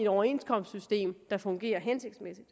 overenskomstsystem der fungerer hensigtsmæssigt